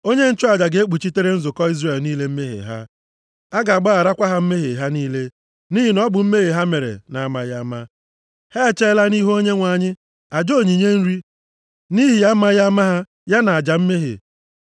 Onye nchụaja ga-ekpuchitere nzukọ Izrel niile mmehie ha. A ga-agbagharakwa ha mmehie ha niile, nʼihi na ọ bụ mmehie ha mere na-amaghị ama. Ha e cheela nʼihu Onyenwe anyị aja onyinye nri nʼihi amaghị ama ha ya na aja mmehie.